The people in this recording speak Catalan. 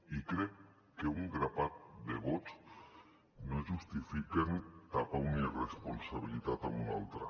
i crec que un grapat de vots no justifiquen tapar una irresponsabilitat amb una altra